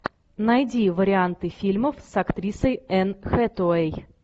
найди варианты фильмов с актрисой энн хэтэуэй